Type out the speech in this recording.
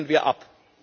Das lehnen wir ab!